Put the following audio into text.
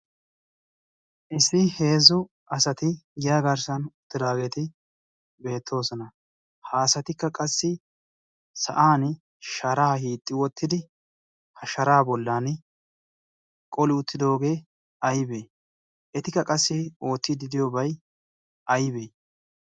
issi heezzu asati giyaa garssan uttidaageti beettoosona. ha asatikka qassi sa'an sharaa hiixxi wottidi ha sharaa bollan qoli uttidoogee aybee? etikka qassi oottiidi diyoobay aybee?